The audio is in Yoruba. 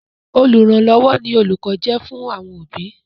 Olùrànlọ́wọ́ ni òlùkọ́ jẹ́ fún àwọn òbí.